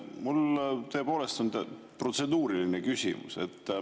Mul tõepoolest on protseduuriline küsimus.